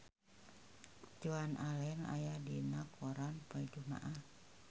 Joan Allen aya dina koran poe Jumaah